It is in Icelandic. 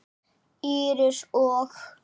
Íris og